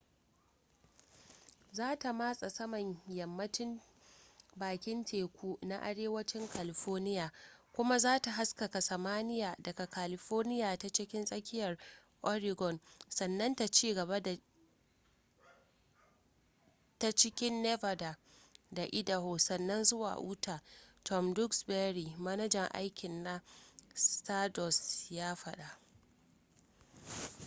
za ta matsa saman yammacin bakin teku na arewacin california kuma za ta haskaka samaniya daga california ta cikin tsakiyar oregon sannan ta cigaba ta cikin nevada da idaho sannan zuwa cikin utah tom duxbury manajan aiki na stardust ya faɗa